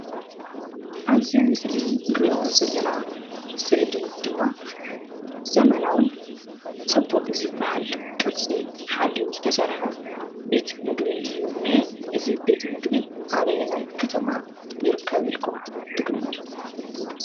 አብዚ ምስሊ እንሪኦ ዘለና ስእሊ ድማ ዘመናዊን ፅቡቕ ዝበሃል ቅርፂ ሓልዩ ዝተሰርሐ ቤት ምግቢ እዩ እኒኤ፡፡ እዚ ቤት ምግቢ አበየናይ ከተማ ይርከብ ኢልኩም ትግምቱ?